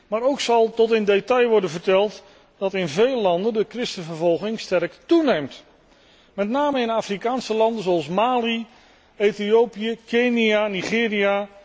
Maar ook zal tot in detail worden verteld dat in veel landen de christenvervolging sterk toeneemt, met name in Afrikaanse landen zoals Mali, Ethiopië, Kenia en Nigeria.